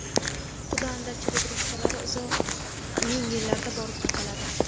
quda-andachilik rishtalari uzoq ming yillarga borib taqaladi.